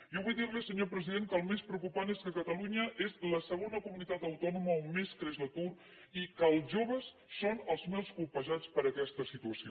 jo vull dir li senyor president que el més preocupant és que catalunya és la segona comunitat autònoma on més creix l’atur i que els joves són els més colpejats per aquesta situació